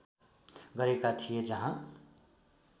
गरेका थिए जहाँ